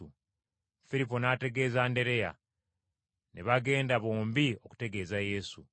Firipo n’ategeeza Andereya, ne bagenda bombi okutegeeza Yesu.